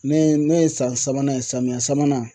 Ne ne ye san sabanan ye, samiyɛ sabanan